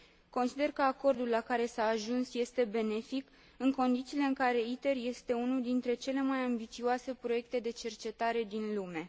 Consider că acordul la care s a ajuns este benefic, în condițiile în care ITER este unul dintre cele mai ambițioase proiecte de cercetare din lume.